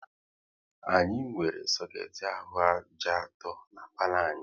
Anyị nwere soket ahụ ájá atọ n'palo anyị